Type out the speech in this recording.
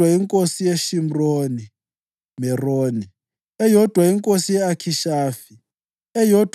inkosi yeShimron Meroni, eyodwa inkosi ye-Akhishafi, eyodwa